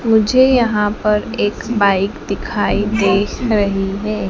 मुझे यहां पर एक बाइक दिखाई दे रही है।